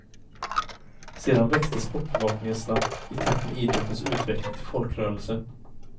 Sedan växte sportbevakningen snabbt, i takt med idrottens utveckling till folkrörelse.